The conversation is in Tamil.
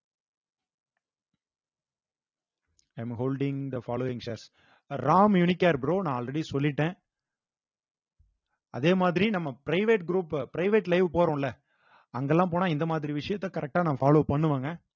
i am a holding the following shares Ram unicare bro நான் already சொல்லிட்டேன் அதே மாதிரி நம்ம private group private live போறோம்ல அங்கெல்லாம் போனா இந்த மாதிரி விஷயத்த correct ஆ நான் follow பண்ணுவேங்க